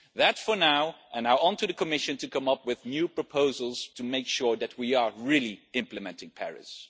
That is for now, and now it is onto the Commission to come up with new proposals to make sure that we really are implementing Paris.